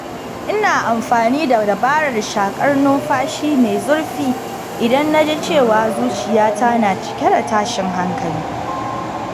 Ina amfani da dabarar shaƙar numfashi mai zurfi idan na ji cewa zuciyata na cike da tashin hankali.